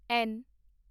ਐਨ